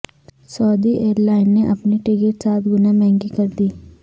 سعودی airline نے اپنی tickets سات گنا مہنگی کر دیں